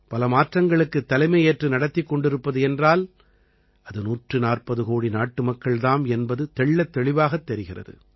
பல மாற்றங்களுக்குத் தலைமை ஏற்று நடத்திக் கொண்டிருப்பது என்றால் அது 140 கோடி நாட்டு மக்கள் தாம் என்பது தெள்ளத்தெளிவாகத் தெரிகிறது